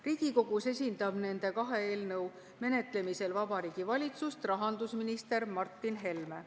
Riigikogus esindab nende kahe eelnõu menetlemisel Vabariigi Valitsust rahandusminister Martin Helme.